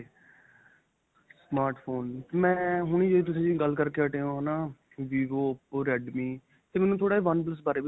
smartphone ਮੈਂ ਹੁਣੀ ਤੁਸੀਂ ਜੋ ਗੱਲ ਕਰਕੇ ਹਟੇ ਹੋ ਹੈ ਨਾਂ vivo oppo redmi ਤੇ ਮੈਨੂੰ ਥੋੜਾ oneplus ਬਾਰੇ ਵੀ ਦੱਸੋ.